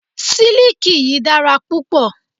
Siliki yìí dára púpọ̀.